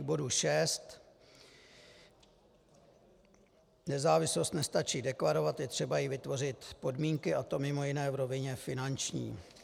K bodu 6 - nezávislost nestačí deklarovat, je třeba jí vytvořit podmínky, a to mimo jiné v rovině finanční.